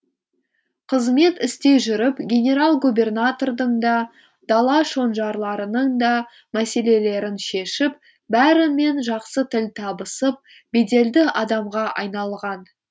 қызмет істей жүріп генерал губернатордың да дала шонжарларының да мәселелерін шешіп бәрімен жақсы тіл табысып беделді адамға айналған